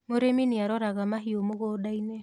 mũrĩmi nĩaroraga mahiũ mĩgũnda-inĩ